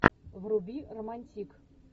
вруби романтик